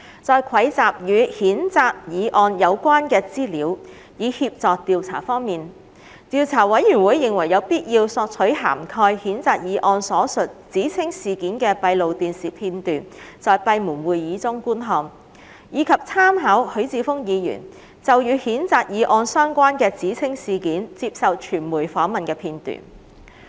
在蒐集與譴責議案有關的資料以協助調查方面，調查委員會認為有必要索取涵蓋譴責議案所述指稱事件的閉路電視片段，在閉門會議中觀看，以及參考許智峯議員就與譴責議案有關的指稱事件接受傳媒訪問的片段。